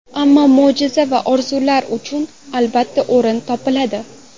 Ammo mo‘jiza va orzular uchun, albatta, o‘rin topiladi.